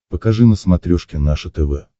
покажи на смотрешке наше тв